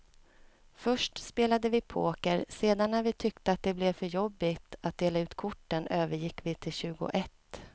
Först spelade vi poker, sedan när vi tyckte att det blev för jobbigt att dela ut korten övergick vi till tjugoett.